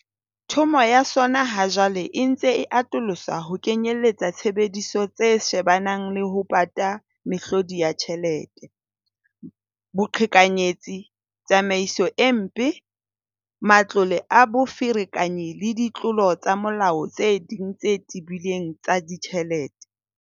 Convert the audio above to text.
Thomo ya sona ha jwale e ntse e atoloswa ho kenyelletsa tshebediso tse shebanang le ho pata mehlodi ya tjhelete, boqhekanyetsi, tsamaiso e mpe, matlole a boferekanyi le ditlolo tsa molao tse ding tse tebileng tsa ditjhelete.